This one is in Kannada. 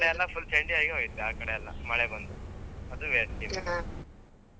ಕೆಲವ್ ಕಡೆಯೆಲ್ಲಾ full ಚಂಡಿಯಾಗಿ ಹೋಯ್ತು ಆ ಕಡೆಯೆಲ್ಲ ಮಳೆ ಬಂದು ಅದು .